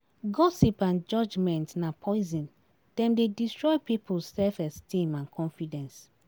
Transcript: Gossip and judgment na poison, dem dey destroy people's self-esteem and confidence.